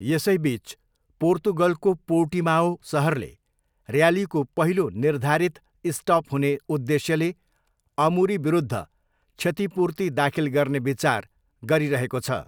यसैबिच, पोर्तुगलको पोर्टिमाओ सहरले र्यालीको पहिलो निर्धारित स्टप हुने उद्देश्यले अमुरीविरुद्ध क्षतिपूर्ति दाखिल गर्ने विचार गरिरहेको छ।